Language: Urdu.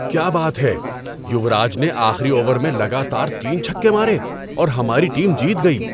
کیا بات ہے! یوراج نے آخری اوور میں لگاتار تین چھکے مارے اور ہماری ٹیم جیت گئی۔